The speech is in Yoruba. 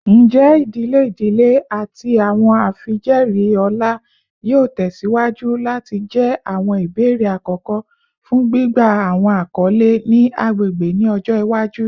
Njẹ idile idile ati awọn afijẹẹri ọlá yoo tẹsiwaju lati jẹ awọn ibeere akọkọ fun gbigba awọn akọle ni agbegbe ni ọjọ iwaju?